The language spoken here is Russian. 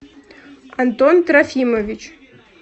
антон трофимович